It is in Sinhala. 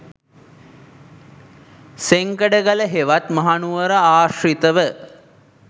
සෙංකඩගල හෙවත් මහනුවර ආශි්‍රතව